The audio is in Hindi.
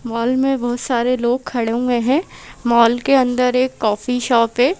मॉल में बहुत सारे लोग खड़े हुए हैं मॉल के अंदर एक कॉफी शॉप है।